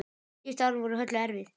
Síðustu árin voru Höllu erfið.